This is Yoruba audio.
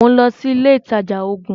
Mò ń lọ sí ilé ìtajà oògùn.